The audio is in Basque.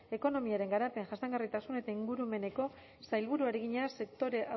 ekonomiaren garapen jasangarritasun eta ingurumeneko sailburuari egina sektore